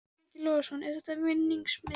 Breki Logason: Er þetta vinningsmiðinn?